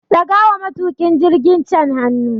Daga wa matukin jirgin can hannu